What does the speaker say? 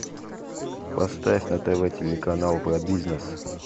поставь на тв телеканал про бизнес